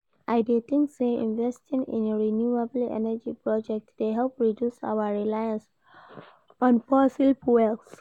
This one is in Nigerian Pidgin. I dey think say investing in renewable energy projects dey help reduce our reliance on fossil fuels.